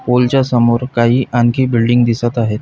पुलच्या समोर काही आणखी बिल्डिंग दिसत आहेत.